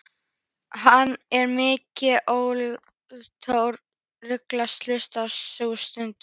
Hann er mikið ólíkindatól þessi ristill, hugsaði sú stutta.